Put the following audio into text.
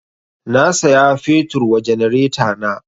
Na saya fetur wa janaretana